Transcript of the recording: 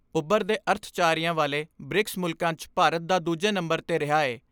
ਉਭਰਦੇ ਅਰਥਚਾਰਿਆਂ ਵਾਲੇ ਬ੍ਰਿਕਸ ਮੁਲਕਾਂ 'ਚ ਭਾਰਤ ਦਾ ਦੂਜੇ ਨੰਬਰ 'ਤੇ ਰਿਹਾ ਏ।